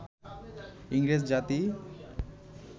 ইংরেজ জাতি